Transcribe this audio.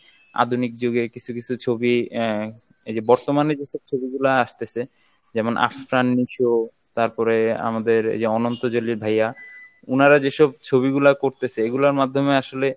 আধুনিক যুগের কিছু কিছু ছবি আহ এই যে বর্তমানে যেসব ছবিগুলা আসতেছে যেমন আফরান নিশো তারপরে আমাদের এইযে অনন্ত জলিল ভাইয়া উনারা যেসব ছবিগুলো করতেছে এগুলার মাধ্যমে আসলে